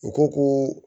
U ko ko